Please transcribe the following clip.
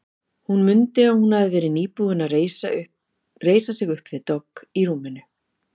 Hún mundi að hún hafði verið nýbúin að reisa sig upp við dogg í rúminu.